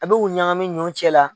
A b'u ɲagami ɲɔ cɛla